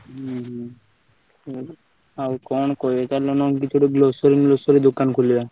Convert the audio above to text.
ହୁଁ ହୁଁ ହୁଁ ଆଉ କଣ କହିବି ଚାଲ ନହେଲେ grocery ମ୍ରୋସରି ଦୋକାନ ଖୋଲିବା?